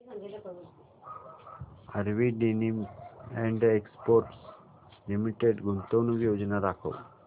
RV denims and exports limited गुंतवणूक योजना दाखव